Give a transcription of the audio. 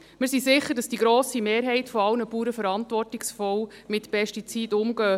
Wir sind sicher, dass die grosse Mehrheit aller Bauern verantwortungsvoll mit Pestiziden umgeht.